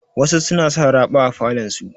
Wasu suna sa raɓa a falon su.